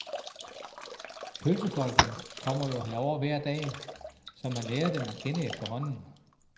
Pølsefolkene kommer jo herover hver dag, så man lærer dem at kende efterhånden.